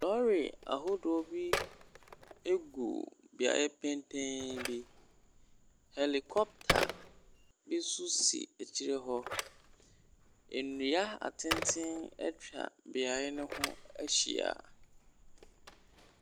Lɔɔre ahodoɔ bi gu beaeɛ petee bi. Helicopter bi nso si akyire hɔ. Nnua atenten atwa beaeɛ no ho ahyia.